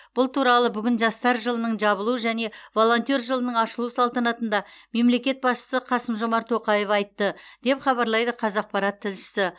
бұл туралы бүгін жастар жылының жабылу және волонтер жылының ашылу салтанатында мемлекет басшысы қасым жомарт тоқаев айтты деп хабарлайды қазақпарат тілшісі